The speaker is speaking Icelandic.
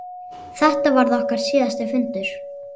Þetta varð okkar síðasti fundur.